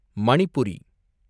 Manipuri